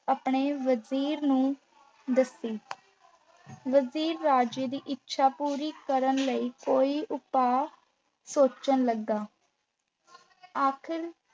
ਆਪਣੇ ਵਜ਼ੀਰ ਨੂੰ ਦੋਸੀ ਵਜ਼ੀਰ ਰਾਜੇ ਦੀ ਇੱਛਾ ਪੂਰੀ ਕਰਨ ਲਈ ਕੋਈ ਉਪਾਅ ਸੋਚਣ ਲੱਗਾ ਆਖਿਰ